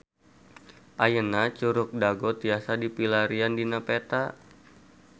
Ayeuna Curug Dago tiasa dipilarian dina peta